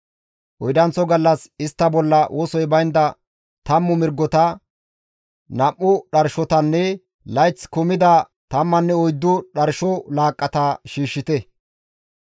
« ‹Oydanththo gallas istta bolla wosoy baynda tammu mirgota, nam7u dharshotanne layththi kumida tammanne oyddu dharsho laaqqata shiishshite.